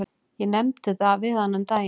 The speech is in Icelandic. Ég nefndi það við hana um daginn.